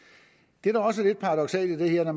det der også er lidt paradoksalt i det her når